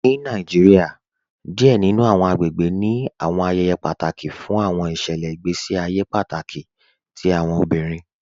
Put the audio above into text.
Ni Nàìjíríà, díẹ̀ nínu àwọn àgbègbè ní àwọn ayéyé pátákì fún àwọn ìṣẹlẹ̀ ìgbèsí àyè pátákì tí àwọn obìrín